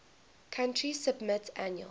country submit annual